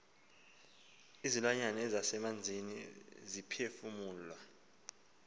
izilwanyana ezisemanzini ziphefumla